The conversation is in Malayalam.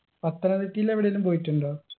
പത്തനംതിട്ടയിൽ എവിടേലും പോയിട്ടുണ്ടോ